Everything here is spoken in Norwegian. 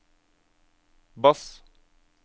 bass